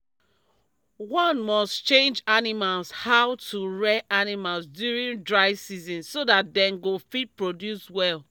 one must change animals how to rear animals during dry season so that dem go fit produce well